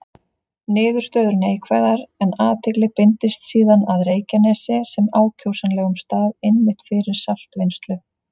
Niðurstöður neikvæðar, en athygli beindist síðan að Reykjanesi sem ákjósanlegum stað einmitt fyrir saltvinnslu.